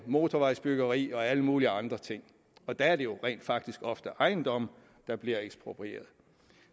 motorvejsbyggeri og alle mulige andre ting og der er det jo rent faktisk ofte ejendomme der bliver eksproprieret